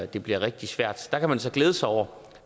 det bliver rigtig svært der kan man så glæde sig over